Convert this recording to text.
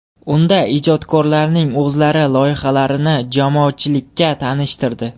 Unda ijodkorlarning o‘zlari loyihalarini jamoatchilikka tanishtirdi.